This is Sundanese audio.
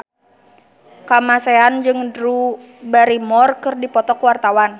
Kamasean jeung Drew Barrymore keur dipoto ku wartawan